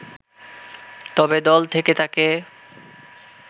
তবে দল থেকে তাকে